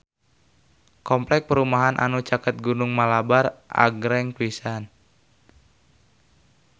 Kompleks perumahan anu caket Gunung Malabar agreng pisan